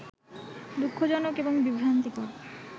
দু:খজনক এবং বিভ্রান্তিকর